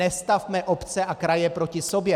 Nestavme obce a kraje proti sobě.